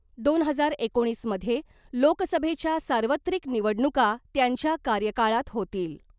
दोन हजार एकोणीस मध्ये लोकसभेच्या सार्वत्रिक निवडणूका त्यांच्या कार्यकाळात होतील .